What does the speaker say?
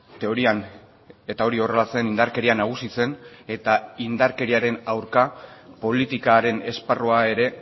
teorian eta hori horrela zen indarkeria nagusi zen eta indarkeriaren aurka politikaren esparrua ere